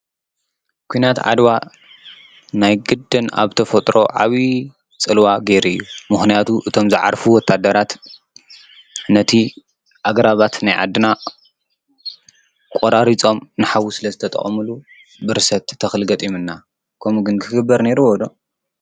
ኲናት ዓድዋ ናይ ግደን ኣብ ተ ፈጥሮ ዓብዪ ፅልዋ ጌይሩ እዩ፡፡ ምኽንያቱ እቶም ዝዓርፉ ወታደራት ነቲ ኣግራባት ናይ ዓድና ቖራሪፆም ንሓዊ ስለ ዝተጠቐምሉ ብርሰት ተኽል ገጢሙና ከምኡ ግን ክግበር ኔይሩዎ ዶ?